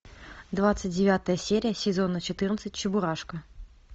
двадцать девятая серия сезона четырнадцать чебурашка